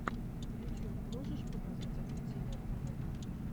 ютьюб можешь показать автодилер тв